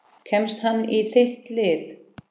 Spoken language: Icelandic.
Kemst hann í þitt lið?